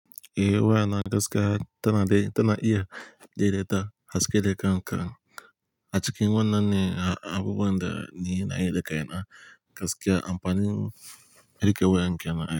Eh, wayana gaskiya tana dai, tana iya daidaita haske da kam kam. A cikin wannan ne abubuwan da ni na yi da kai na gaskiya amfanin riƙe waye ke nan.